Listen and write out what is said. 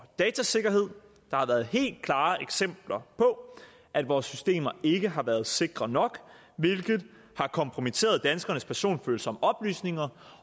datasikkerhed der har været helt klare eksempler på at vores systemer ikke har været sikre nok hvilket har kompromitteret danskernes personfølsomme oplysninger